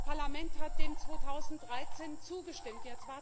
Das Parlament hat dem 2013 zugestimmt.